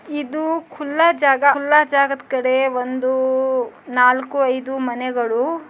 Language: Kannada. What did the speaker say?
ಇದು ಖುಲ್ಲ ಜಾಗ ಖುಲ್ಲ ಜಾಗದ ಕಡೆ ಒಂದು ನಾಲ್ಕು ಐದು ಮನೆಗಳು